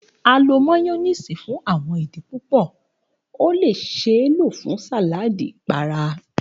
A lo Mayonnaise fun awọn idi pupọ, o le ṣee lo fun saladi ipara.